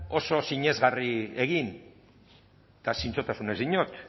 oso sinesgarria egin eta zintzotasunez diot